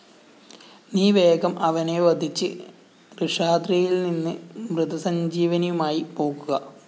നീ വേഗം അവനെ വധിച്ച് ഋഷാദ്രിയില്‍ നിന്ന് മൃതസഞ്ജീവിനിയുമായി പോകുക